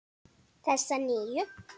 Þessa nýju.